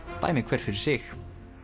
dæmi hver fyrir sig